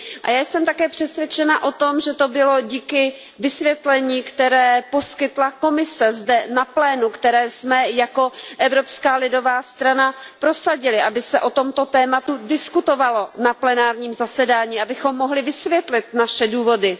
Já jsem také přesvědčena o tom, že to bylo díky vysvětlení, které poskytla Komise zde na plénu, které jsme jako Evropská lidová strana prosadili, aby se o tomto tématu diskutovalo na plenárním zasedání, abychom mohli vysvětlit naše důvody.